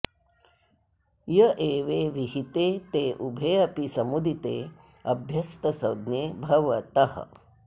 ये एवे विहिते ते उभे अपि समुदिते अभ्यस्तसंज्ञे भवतः